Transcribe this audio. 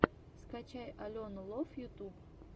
скачай алену лов ютуб